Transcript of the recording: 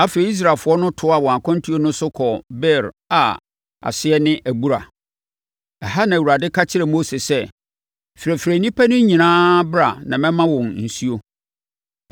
Afei, Israelfoɔ no toaa wɔn akwantuo no so kɔɔ Beer a aseɛ ne “Abura.” Ɛha na Awurade ka kyerɛɛ Mose sɛ, “Frɛfrɛ nnipa no nyinaa bra na mɛma wɔn nsuo.”